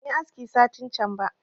Ban yi aski satin can ba